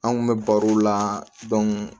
An kun bɛ barow la